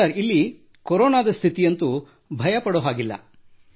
sir ಇಲ್ಲಿ ಕೊರೋನಾದ ಸ್ಥಿತಿಯಂತೂ ಹಾಗೇನೂ ಇಲ್ಲ ಸರ್